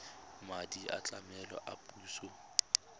madi a tlamelo a puso